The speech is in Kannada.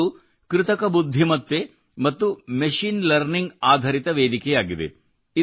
ಇದೊಂದು ಕೃತಕ ಬುದ್ಧಿಮತ್ತೆ ಮತ್ತು ಮೆಶೀನ್ ಲರ್ನಿಂಗ್ ಆಧರಿತ ವೇದಿಕೆಯಾಗಿದೆ